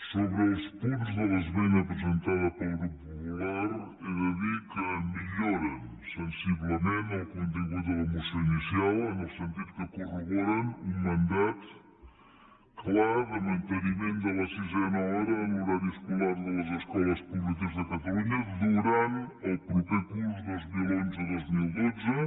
sobre els punts de l’esmena presentada pel grup popular he de dir que milloren sensiblement el contingut de la moció inicial en el sentit que corroboren un mandat clar de manteniment de la sisena hora en l’horari escolar de les escoles públiques de catalunya durant el proper curs dos mil onze dos mil dotze